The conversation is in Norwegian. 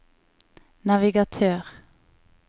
navigatør